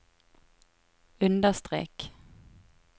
understrek